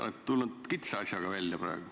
Olete tulnud kitsa asjaga välja praegu.